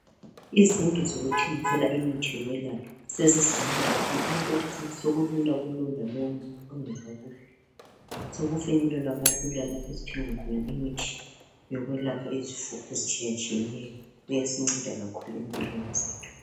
Izindlu zokuthengisela imithi yokwelapha sezizinengi kakhulu okokuthi sokulula kulowo lalowo umuntu ongezwa kuhle sokufinyelelwa kalula lapho esithenga khona imuthi yokwelapha izifo ezitshiya tshiyeneyo uyasinceda kakhulu empilweni zethu.